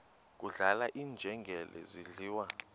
kudlala iinjengele zidliwa